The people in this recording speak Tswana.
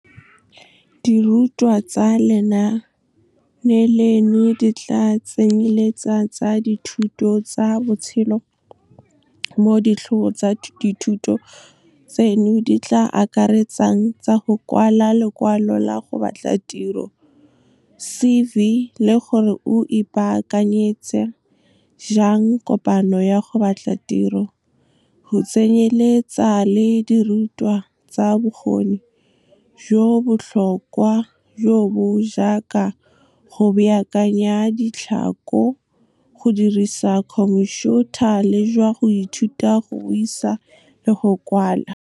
Dirutwa tsa lenaane leno di tla tsenyeletsa tsa dithuto tsa botshelo mo ditlhogo tsa dithuto tseno di tla akaretsang tsa go kwala lekwalo la go batla tiro, CV, le gore o ipaakanyetsa jang kopano ya go batla tiro, go tsenyeletsa le dirutwa tsa bokgoni jo bo botlhokwa, jo bo jaaka go baakanya ditlhako, go dirisa khomphiutha le jwa go ithuta go buisa le go kwala. Dirutwa tsa lenaane leno di tla tsenyeletsa tsa dithuto tsa botshelo mo ditlhogo tsa dithuto tseno di tla akaretsang tsa go kwala lekwalo la go batla tiro, CV, le gore o ipaakanyetsa jang kopano ya go batla tiro, go tsenyeletsa le dirutwa tsa bokgoni jo bo botlhokwa, jo bo jaaka go baakanya ditlhako, go dirisa khomphiutha le jwa go ithuta go buisa le go kwala.